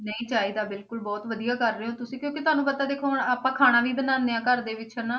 ਨਹੀਂ ਚਾਹੀਦਾ ਬਿਲਕੁਲ ਬਹੁਤ ਵਧੀਆ ਕਰ ਰਹੇ ਹੋ ਤੁਸੀਂ ਕਿਉਂਕਿ ਤੁਹਾਨੂੰ ਪਤਾ ਦੇਖੋ ਹੁਣ ਆਪਾਂ ਖਾਣਾ ਵੀ ਬਣਾਉਂਦੇ ਹਾਂ ਘਰ ਦੇ ਵਿੱਚ ਹਨਾ,